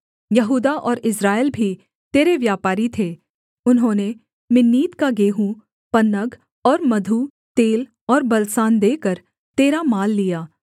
यहूदा और इस्राएल भी तेरे व्यापारी थे उन्होंने मिन्नीत का गेहूँ पन्नग और मधु तेल और बलसान देकर तेरा माल लिया